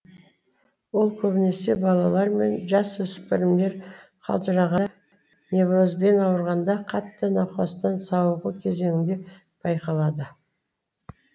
ол көбінесе балалар мен жасөспірімдер қалжырағанда неврозбен ауырғанда қатты науқастан сауығу кезеңінде байқалады